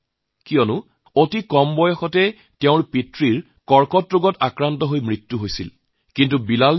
তেওঁৰ সৰু হৈ থকা অৱস্থাতে কেন্সাৰত আক্ৰান্ত হৈ পিতৃৰ মৃত্যু হয়